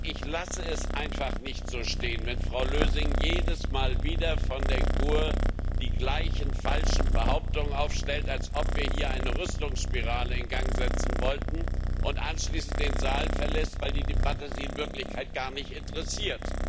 Ich lasse es einfach nicht so stehen, wenn Frau Lösing von der GUE Fraktion jedes Mal wieder die gleichen falschen Behauptungen aufstellt, als ob wir hier eine Rüstungsspirale in Gang setzen wollten, und anschließend den Saal verlässt, weil die Debatte sie in Wirklichkeit gar nicht interessiert.